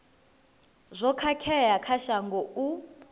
zwo khakhea kha shango u